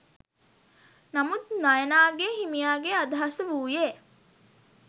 නමුත් නයනාගේ හිමියාගේ අදහස වුයේ